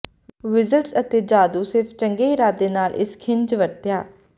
wizards ਅਤੇ ਜਾਦੂ ਸਿਰਫ਼ ਚੰਗੇ ਇਰਾਦੇ ਨਾਲ ਇਸ ਖਣਿਜ ਵਰਤਿਆ